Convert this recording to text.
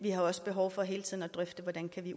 i de